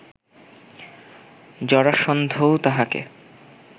জরাসন্ধও তাঁহাকে